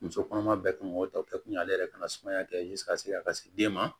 Muso kɔnɔma bɛɛ kan k'o ta kɛ kun ye ale yɛrɛ kana sumaya kɛ ka se a ka se den ma